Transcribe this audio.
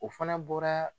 O fana bɔra